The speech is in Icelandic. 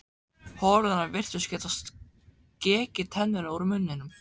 Holurnar virtust geta skekið tennur úr munninum.